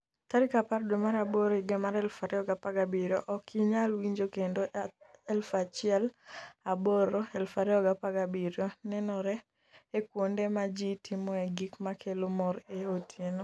10/08/2017 Ok inyal winjo kendo 1000/08/2017 nenore e kuonde ma ji timoe gik ma kelo mor e otieno.